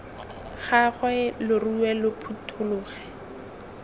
gagwe lo rue lo phuthologe